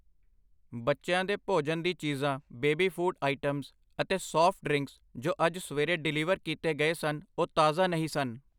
ਬੱਚਿਆਂ ਦੇ ਭੋਜਨ ਦੀ ਚੀਜ਼ਾਂ ਬੇਬੀ ਫੂਡ ਆਇਟਮਸ ਅਤੇ ਸਾਫਟ ਡਰਿੰਕਸ ਜੋ ਅੱਜ ਸਵੇਰੇ ਡਿਲੀਵਰ ਕੀਤੇ ਗਏ ਸਨ ਓਹ ਤਾਜ਼ਾ ਨਹੀਂ ਸਨ I